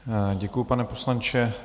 Děkuji, pane poslanče.